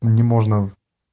не можно